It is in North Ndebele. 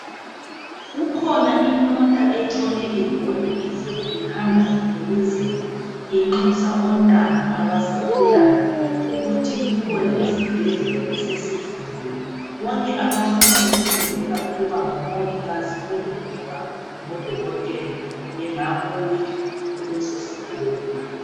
Kukhona imota etshone ibhoda izolo ,ihamba imemezela inxusa ontanga abasakhulayo ukuthi kukhona isibhedlela esesivuliwe .Bonke abafuna ukufundela ukuba ngomongikazi kumbe ukuba ngodokothela bengabuya kuleso sikolo.